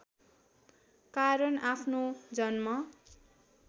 कारण आफ्नो जन्म